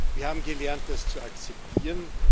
Wir haben gelernt, das zu akzeptieren.